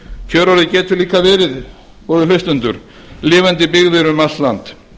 kjörorðið getur líka verið góðir hlustendur lifandi byggðir um allt land